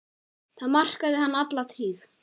Það markaði hann alla tíð.